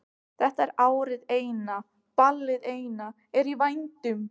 Þetta er árið eina, ballið eina er í vændum.